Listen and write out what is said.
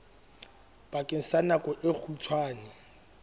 bakeng sa nako e kgutshwane